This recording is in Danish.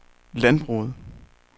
landbruget